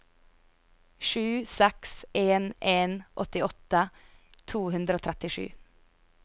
sju seks en en åttiåtte to hundre og trettisju